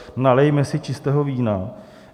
Nalijme si čistého vína.